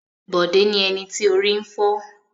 Bọ̀dé ni ẹni tí orí ń fọ́.